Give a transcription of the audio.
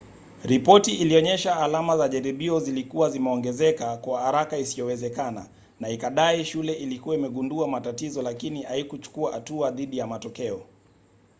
ripoti ilionyesha alama za jaribio zilikuwa zimeongezeka kwa haraka isiyowezekana na ikadai shule ilikuwa imegundua matatizo lakini haikuchukua hatua dhidi ya matokeo